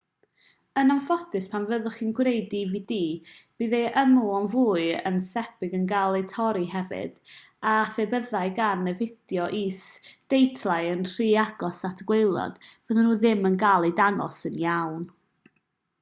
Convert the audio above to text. yn anffodus pan fyddwch chi'n gwneud dvd bydd ei ymylon fwy na thebyg yn cael eu torri hefyd a phe byddai gan y fideo is-deitlau yn rhy agos at y gwaelod fyddan nhw ddim yn cael eu dangos yn llawn